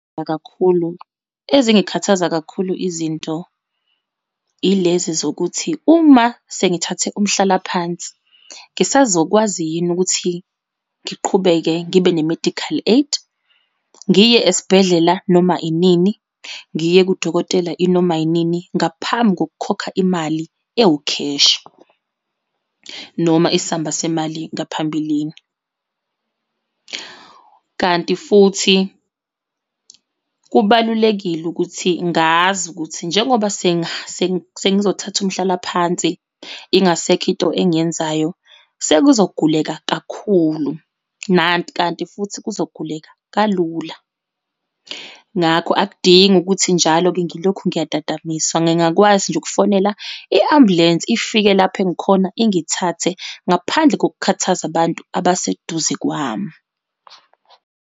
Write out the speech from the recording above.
Kakhulu, ezingakhathaza kakhulu izinto, yilezi zokuthi uma sengithathe umhlalaphansi ngisazokwazi yini ukuthi ngiqhubeke ngibe ne-medical aid, ngiye esibhedlela noma inini, ngiye kudokotela inoma inini ngaphambi kokukhokha imali ewukheshi, noma isamba semali ngaphambilini. Kanti futhi kubalulekile ukuthi ngazi ukuthi njengoba sengizothatha umhlalaphansi, ingasekho into engiyenzayo, sekuzoguleka kakhulu, kanti futhi kuzoguleka kalula. Ngakho akudingi ukuthi njalo-ke ngilokhu ngiyatatamiswa, ngingakwazi nje ukufonela i-ambulensi, ifike lapho engikhona, ingithathe ngaphandle kokukhathaza abantu abaseduze kwami.